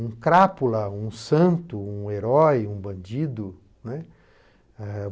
um crápula, um santo, um herói, um bandido, né. Eh